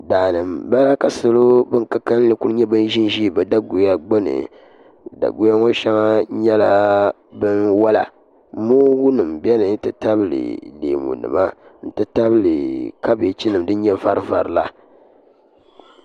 Daa ni mbala ka salo bini ka kanli kuli zi n zi bi daguya gbuni daguya ŋɔ shɛŋa nyɛla bini wola moongu nima bɛni nti tabili leemu nima nti tabili kabieji nima dini nyɛ vari vari la.